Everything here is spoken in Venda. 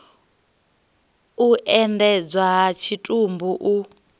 u endedzwa ha tshitumbu u